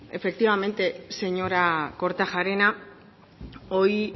pues efectivamente señora kortajarena hoy